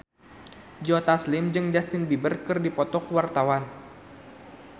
Joe Taslim jeung Justin Beiber keur dipoto ku wartawan